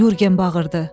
Yurgen bağırdı.